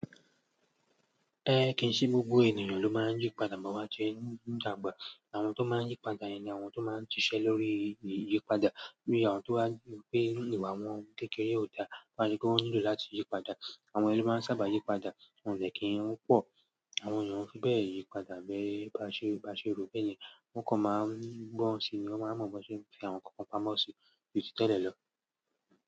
Ehn, kì n ṣe gbogbo ènìyàn ló máa ń yípadà mọ́wa ti inù nu tàgbà. Àwọn tó máa ń yípadà yẹn ni àwọn tó máa ń ṣiṣẹ́ lórí ìyì, yípadà. Bí àwọn tó bá ní ìpinú pé inú ìwà wọn kékeré ò dá ló máa ń sepé wọn nílò láti yípadà. Àwọn ẹniyen ló máa ń sábà yípadà, wọ́n dè kí n pọ̀. Àwọn èèyàn ò fi bẹ yípadà bí bá ṣe, bá ṣe rò bẹ́yẹn wọ́n kàn máa ń gbọ́n ran sí ni wọ́n máa ń mọ bó ṣe ń fi àwọn nǹkan kan pamọ́ sí ju tí tẹ́lẹ̀ lọ.